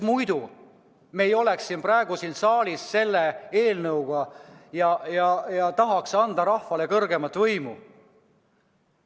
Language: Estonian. Muidu me ei oleks praegu siin saalis selle eelnõuga, tahtes anda rahvale rohkem võimu.